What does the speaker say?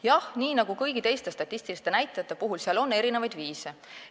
Jah, nii nagu ka kõigi teiste statistiliste näitajate puhul, on seal erinevaid viise.